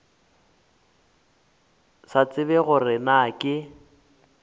sa tsebe gore na ke